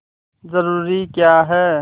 जरूरी क्या है